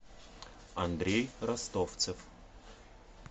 андрей ростовцев